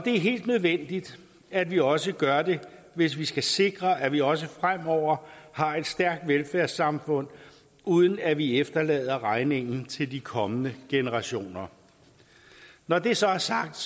er helt nødvendigt at vi også gør det hvis vi skal sikre at vi også fremover har et stærkt velfærdssamfund uden at vi efterlader regningen til de kommende generationer når det så er sagt